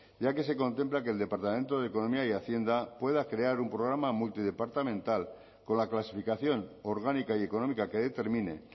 ya que se contempla que el departamento de economía y hacienda pueda crear un programa multidepartamental con la clasificación orgánica y económica que determine